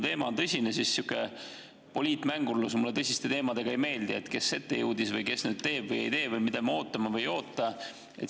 Teema on tõsine ja sihuke poliitmängurlus mulle tõsiste teemade puhul ei meeldi: et kes jõudis ette, kes teeb või ei tee või mida me ootame või ei oota.